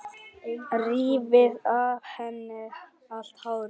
Rífi af henni allt hárið.